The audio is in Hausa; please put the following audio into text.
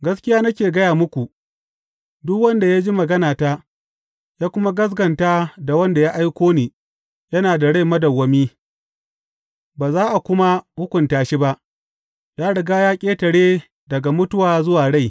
Gaskiya nake gaya muku, duk wanda ya ji maganata ya kuma gaskata da wanda ya aiko ni yana da rai madawwami ba za a kuma hukunta shi ba; ya riga ya ƙetare daga mutuwa zuwa rai.